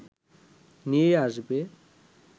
নিয়ে আসবে